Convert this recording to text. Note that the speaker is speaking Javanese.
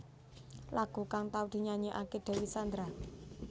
Lagu kang tau dinyanyékaké Dewi Sandra